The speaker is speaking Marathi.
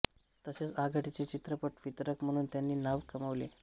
तसेच आघाडीचे चित्रपट वितरक म्हणून त्यांनी नाव कमावले